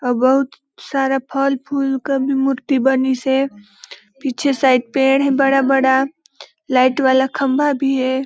बहोत सारा फल फूल क मूर्ति बनीसे पीछे साइड पेड़ हे बड़ा- बड़ा लाइट वाला खम्बा भी हे।